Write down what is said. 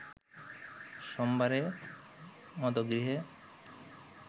সোমবারে মদগৃহে